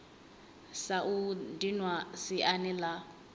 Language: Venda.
sa u dinwa siani la